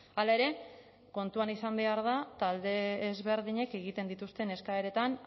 hala ere kontuan izan behar da talde ezberdinek egiten dituzte eskaeratan